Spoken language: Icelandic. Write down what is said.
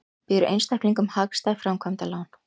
Býður einstaklingum hagstæð framkvæmdalán